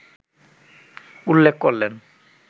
উল্লেখ করলেন